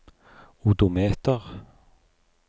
odometer